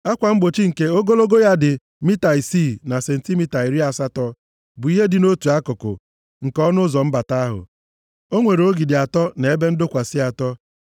Akwa mgbochi nke ogologo ya dị mita isii na sentimita iri asatọ bụ ihe dị nʼotu akụkụ nke ọnụ ụzọ mbata ahụ. O nwere ogidi atọ na ebe ndọkwasị atọ.